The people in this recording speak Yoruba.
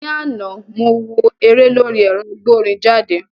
Ní àná, mo wo eré lórí ẹ̀rọ agbórinjáde